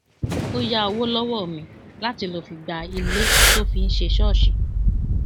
ó ya owo lọwọ mi láti lọọ fi gba ilé tó fi ń ṣe ṣọọṣì